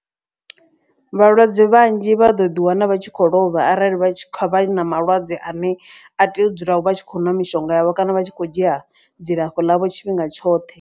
Vhalwadze vhanzhi vha ḓo ḓi wana vha tshi khou lovha. Arali vha tshi khou vha na malwadze ane a tea u dzula vha tshi khou nwa mishonga yavho kana vha tshi kho dzhia dzilafho ḽavho tshifhinga tshoṱhe.